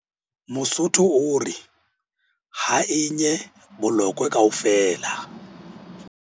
Mosotho o re. Ha e nye bolokwe kaofela!